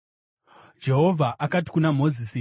Jehovha akati kuna Mozisi,